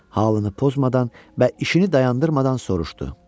Halını pozmadan və işini dayandırmadan soruşdu.